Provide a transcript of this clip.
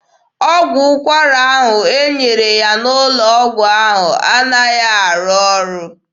Ọgwụ ụkwara e nyere ya n'ụlọ ọgwụ anaghị arụ ọrụ.